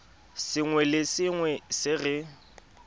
sengwe le sengwe se re